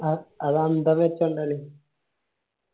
വർത്തല്ലേ എന്നാല്